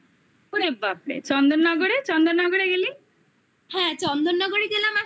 ওরে ওরে বাপরে চন্দননগরে চন্দননগরে গেলি